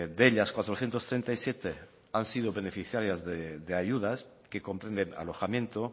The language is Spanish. de ellas cuatrocientos treinta y siete han sido beneficiarias de ayudas que comprenden alojamiento